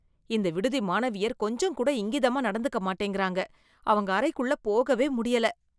இந்த விடுதி மாணவியர் கொஞ்சம் கூட இங்கிதமா நடந்துக்க மாட்டேங்குறாங்க, அவங்க அறைக்குள்ள போகவே முடியல.